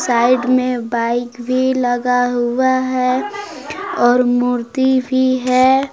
Side में bike भी लगा हुआ है और मूर्ति भी है।